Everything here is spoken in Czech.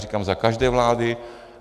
Říkám za každé vlády.